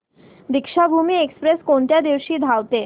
Deekshabhoomi express कोणत्या दिवशी धावते